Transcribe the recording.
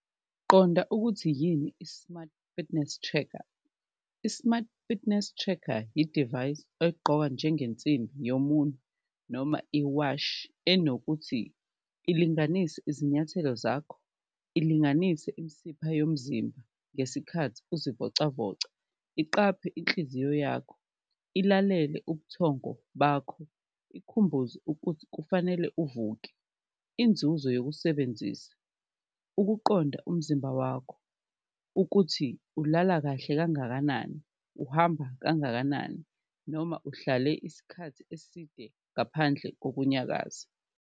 Qonda ukuthi yini i-smart fitness tracker, i-smart fitness tracker idivayisi egqokwa njengensimbi yomunye noma iwashi enokuthi ilinganise izinyathelo zakho ilinganise imisipha yomzimba ngesikhathi uzivocavoca, iqaphe inhliziyo yakho, ilalele ubuthongo bakho, ikukhumbuze ukuthi kufanele uvuke. Inzuzo yokusebenzisa, ukuqonda umzimba wakho ukuthi ulala kahle kangakanani, uhamba kangakanani noma uhlale isikhathi eside ngaphandle kokunyakaza.